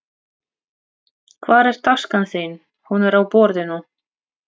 Hvar er taskan þín. Hún er á borðinu